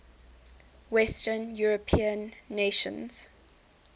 western european nations